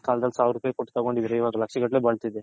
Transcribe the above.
ಕಾಲದಲ್ಲಿ ಸಾವಿರ್ ರೂಪಾಯಿ ಕೊಟ್ಟ ತಗೊಂಡಿದ್ರೆ ಈಗ ಲಕ್ಷ ಗಟ್ಲೆ ಬಲ್ತಿತು